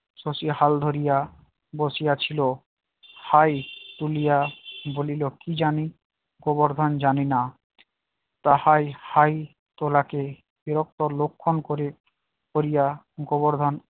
শশী হাল ধরিয়া বসিয়া ছিল হাই তুলিয়া বলিল কি জানি গোবর্ধন জানিনা, তাহাই হাই তোলাকে বিরক্তর লক্ষণ করে করিয়া গোবর্ধন